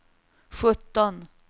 sjutton